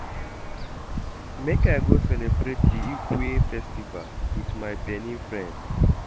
Make I go celebrate di Igue festival wit my Benin friends.